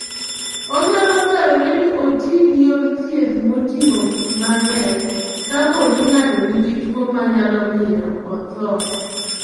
Onyalo dwarore ni oti gi yor thieth moting'o gik mang'eny kapo ni ng'ato nigi tuwo manyalo miyo otho.